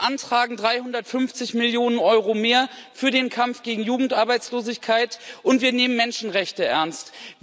Wir beantragen 350 Millionen Euro mehr für den Kampf gegen Jugendarbeitslosigkeit, und wir nehmen Menschenrechte ernst.